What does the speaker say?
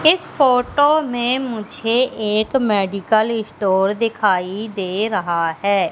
इस फोटो में मुझे एक मेडिकल स्टोर दिखाई दे रहा है।